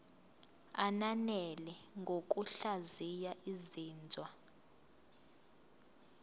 ananele ngokuhlaziya izinzwa